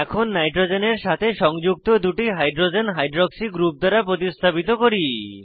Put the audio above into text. এখন নাইট্রোজেনের সাথে সংযুক্ত দুটি হাইড্রোজেন হাইড্রক্সি গ্রুপ দ্বারা প্রতিস্থাপিত করি